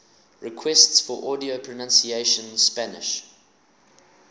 requests for audio pronunciation spanish